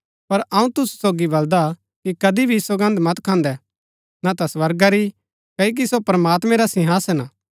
पर अऊँ तुसु सोगी बलदा कि कदी भी सौगन्द मत खान्दै न ता स्वर्गा री क्ओकि सो प्रमात्मैं रा सिंहासन हा